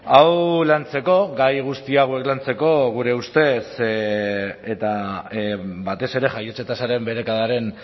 hau lantzeko gai guzti hauek lantzeko gure ustez eta batez ere jaiotze tasaren beherakadaren